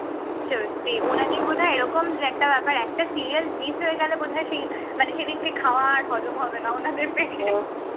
সত্যিই ওনাদের বোধ হয় এরকম যে একটা ব্যাপার একটা serial miss হয়ে গেলে বোধহয় মানে সেই দিনকে খাওয়ার হজম হবে না উনাদের পেটে